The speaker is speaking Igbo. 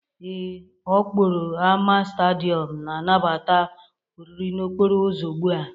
Ee, ọ kpọrọ ámá Stádịọm na-anabata oriri n'okporo ụzọ ugbu a.